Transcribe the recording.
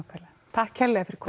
takk kærlega fyrir